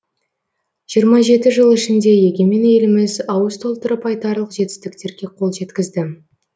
жиырма жеті жыл ішінде егемен еліміз ауыз толтырып айтарлық жетістіктерге қол жеткізді